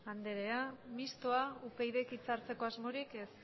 andrea mistoa upydk hitza hartzeko asmorik ez